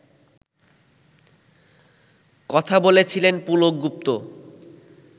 কথা বলেছিলেন পুলক গুপ্ত